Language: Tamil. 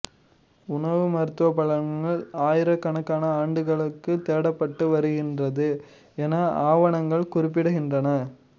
உணவு மருத்துவப் பலன்கள் ஆயிரக்கணக்கான ஆண்டுகளாக தேடப்பட்டு வந்திருக்கிறது என ஆவணங்கள் குறி்ப்பிடுகின்றன